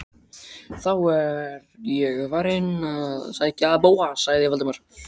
Ég er þá farinn inn að sækja Bóas- sagði Valdimar.